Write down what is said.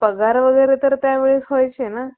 पगार वगैरे तर त्या वेळेस व्हायचे ना